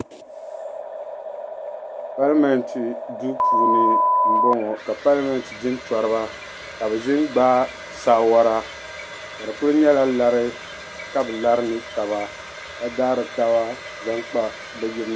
Palimenti duu puuni m boŋɔ ka Palimenti jintoriba ka bɛ ʒini gbagi saawora ka di kuli nyɛla lari ka be lari ni taba ka daari taba zaŋ kpa.